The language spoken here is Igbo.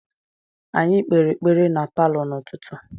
Anyị kpere ekpere na palọ n’ụtụtụ.